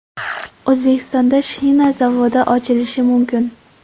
O‘zbekistonda shina zavodi ochilishi mumkin.